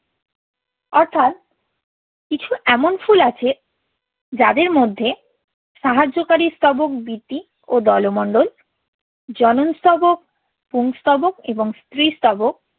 অর্থাৎ কিছু এমন ফুল আছে যাদের মধ্যে সাহায্যকারী স্তবক বৃতি ও দলমণ্ডল, জনন স্তবক, পুংস্তবক এবং স্ত্রীস্তবক।